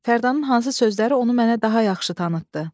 Fərdanın hansı sözləri onu mənə daha yaxşı tanıtdı?